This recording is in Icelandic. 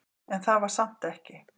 En það var samt ekki.